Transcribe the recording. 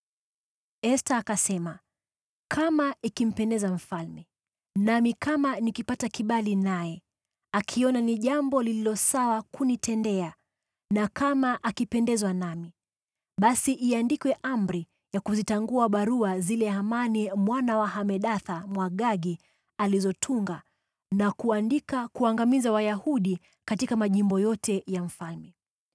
Esta akasema, “Kama ikimpendeza mfalme, nami kama nikipata kibali naye akiona ni jambo lililo sawa kunitendea na kama akipendezwa nami, basi iandikwe amri ya kuzitangua barua zile Hamani mwana wa Hamedatha, Mwagagi, alizotunga na kuandika kuangamiza Wayahudi katika majimbo yote ya mfalme.